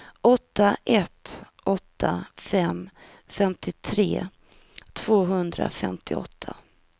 åtta ett åtta fem femtiotre tvåhundrafemtioåtta